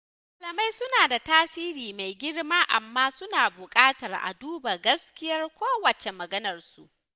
Malamai suna da tasiri mai girma amma suna buƙatar a duba gaskiyar kowacce maganarsu